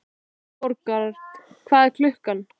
Aðalborgar, hvað er klukkan?